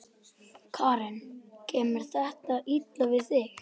Karen: Kemur þetta illa við þig?